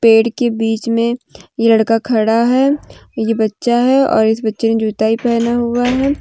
पेड़ के बीच में लड़का खड़ा है ये बच्चा है और इस बच्चे ने जुता भी पहना हुआ है।